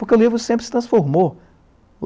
Porque o livro sempre se transformou.